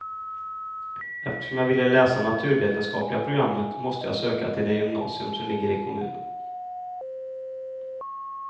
Eftersom jag ville läsa naturvetenskapliga programmet måste jag söka till det gymnasium som ligger i kommunen.